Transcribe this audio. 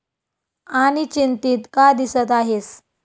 आणी चिंतित का दिसत आहेस?